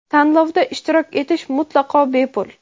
Tanlovda ishtirok etish mutlaqo bepul.